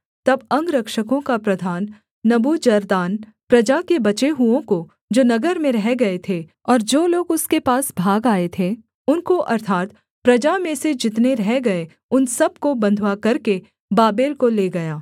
तब अंगरक्षकों का प्रधान नबूजरदान प्रजा के बचे हुओं को जो नगर में रह गए थे और जो लोग उसके पास भाग आए थे उनको अर्थात् प्रजा में से जितने रह गए उन सब को बँधुआ करके बाबेल को ले गया